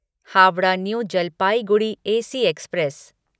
Howrah new Jalpaiguri AC express